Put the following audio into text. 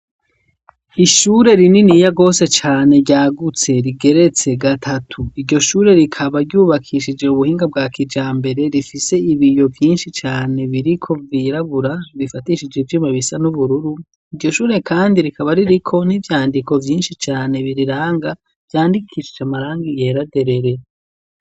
Ishure, rininiya gose cane, ryagutse, rigeretse gatatu; iryo shure, rikaba ryubakishije, ubuhinga bwa kijambere, rifise ibiyo, vyinshi cane, biriko, vyirabura, bifatishije ivyuma, bisa n'ubururu; iryo shure kandi, rikaba ririko n'ivyandiko, vyinshi cane, biriranga, vyandikishije amarangi yera derere.